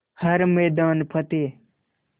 हर मैदान फ़तेह